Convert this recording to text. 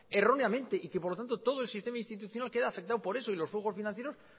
erróneamente y que por lo tanto todo el sistema institucional queda afectado por eso y los juegos financieros